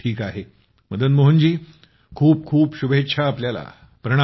ठीक आहे खूप खूप शुभेच्छा आपल्याला